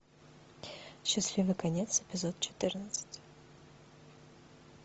счастливый конец эпизод четырнадцать